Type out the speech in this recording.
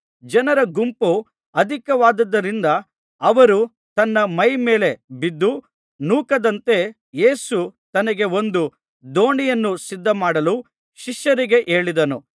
ಜನರ ಗುಂಪು ಅಧಿಕವಾಗಿದ್ದುದರಿಂದ ಅವರು ತನ್ನ ಮೈಮೇಲೆ ಬಿದ್ದು ನೂಕದಂತೆ ಯೇಸು ತನಗೆ ಒಂದು ದೋಣಿಯನ್ನು ಸಿದ್ಧಮಾಡಲು ಶಿಷ್ಯರಿಗೆ ಹೇಳಿದನು